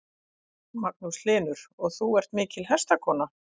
Magnús Hlynur: Og þú ert mikil hestakona?